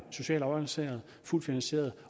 socialt afbalanceret fuldt finansieret